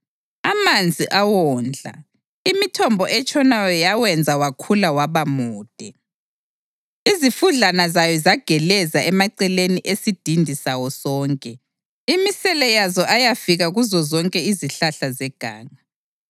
Amanzi awondla, imithombo etshonayo yawenza wakhula waba mude; izifudlana zayo zageleza emaceleni esidindi sawo sonke, imisele yazo ayafika kuzozonke izihlahla zeganga.